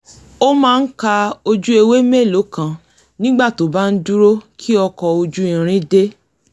ó máa ń ka ojú ewé mélòó kan nígbà tó bá ń dúró ki ọkọ̀-ojú-irin dé